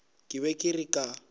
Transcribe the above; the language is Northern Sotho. ke be ke re ka